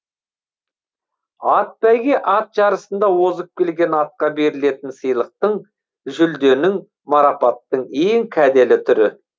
атбәйге ат жарысында озып келген атқа берілетін сыйлықтың жүлденің марапаттың ең кәделі түрі